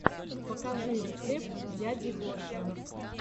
покажи рецепт дяди гоши